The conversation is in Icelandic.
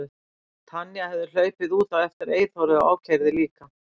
Tanya hefði hlaupið út á eftir Eyþóri og ákærði líka.